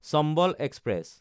Chambal express